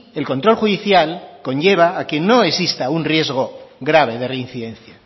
el control judicial conlleva a que no exista un riesgo grave de reincidencia